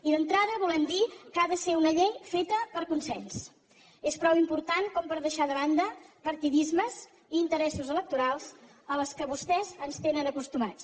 i d’entrada volem dir que ha de ser una llei feta amb consens és prou important per deixar de banda partidismes i interessos electorals als quals vostès ens tenen acostumats